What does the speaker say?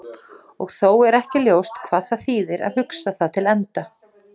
Og þó er ekki ljóst hvað það þýðir að hugsa það til enda.